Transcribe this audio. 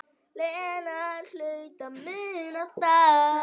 Lena hlaut að muna það.